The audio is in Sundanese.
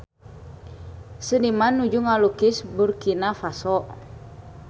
Seniman nuju ngalukis Burkina Faso